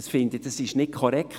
Das ist nicht korrekt.